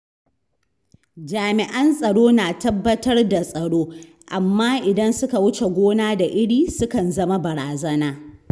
Jami’an tsaro na tabbatar da tsaro, amma idan suka wuce gona da iri, sukan zama barazana.